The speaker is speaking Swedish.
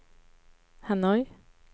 Hanoi